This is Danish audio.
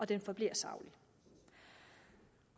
den forbliver saglig